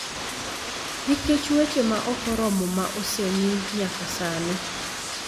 nikech weche ma ok oromo ma osemi nyaka sani.